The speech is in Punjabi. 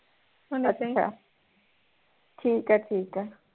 ਅੱਛਾ ਠੀਕ ਐ ਠੀਕ ਐ